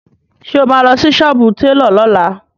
Ǹjẹ́ o máa lọ sí sọ́ọ́bù télọ̀ lọ́la?